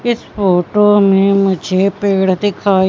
इस फोटो में मुझे पेड़ दिखाई--